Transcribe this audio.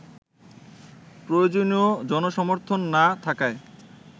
প্রয়োজনীয় জনসমর্থন না থাকায়